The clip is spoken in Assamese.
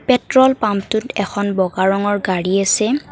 পেট্ৰল পাম্পটোত এখন বগা ৰঙৰ গাড়ী আছে।